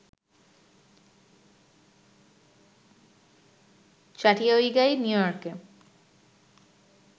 চাটিয়াউগাই, New ইয়র্কে